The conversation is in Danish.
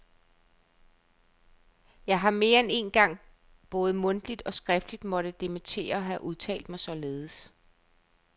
Jeg har mere end én gang både mundtligt og skriftligt måtte dementere at have udtalt mig således.